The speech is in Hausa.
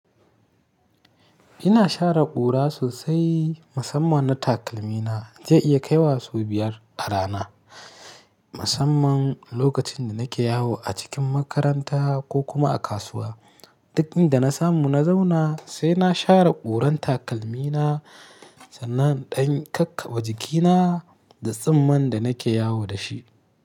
Ina share ƙura sosai, musamman na takalmina. Zai iya kaiwa su biyar a rana. Musamman lokacin da nake yawo a cikin makaranta ko kuma a kasuwa. Dakin da na samu na zauna sai na share ƙuran takalmina sannan ɗan kakkaɓe jikina da tsumman da nake yawo da shi.